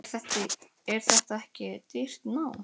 Er þetta ekki dýrt nám?